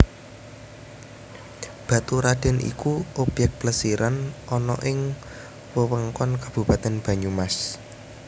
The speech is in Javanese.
Baturradèn iku obyèk plesir ana ing Wewengkon Kabupatén Banyumas